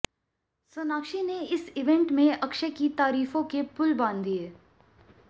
सोनाक्षी ने इस इवेंट में अक्षय की तारीफों के पुल बांध दिए